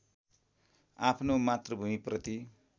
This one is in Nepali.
आफ्नो मातृभूमिप्रति